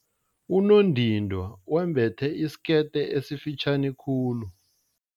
Unondindwa wembethe isikete esifitjhani khulu.